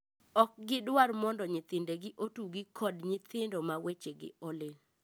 Ok gidwar mondo nyithindegi otugi kod nyithindo ma wechegi olil.